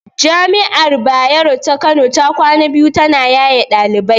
Jami'ar Bayero ta Kano ta kwana biyu ta na yaye ɗalibai